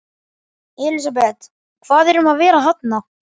Elísabet, hvað er um að vera þarna?